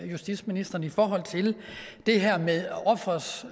justitsministeren i forhold til det her med offerets